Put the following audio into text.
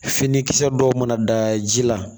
Finikisɛ dɔw mana da ji la